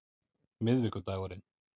miðvikudagurinn